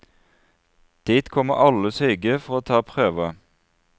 Dit kommer alle syke for å ta prøver.